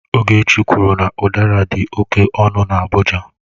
Ogechi kwuru na udara dị oke ọnụ na Abuja.